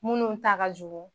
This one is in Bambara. Munnu ta ka jugu.